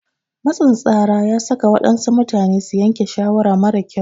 Matsin tsara ya saka waɗansu mutane su yanke shawara mara kyau.